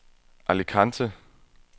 Alicante